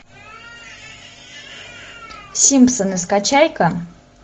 симпсоны скачай ка